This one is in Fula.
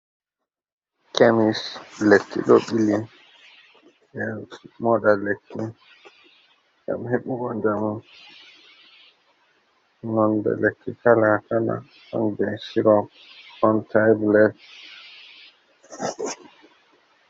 Kemis lekki ɗo ɓili ɓeɗo moɗa lekki ngam heɓugo jamu nonde lekki kala kala on be chirop ɗon tiblet.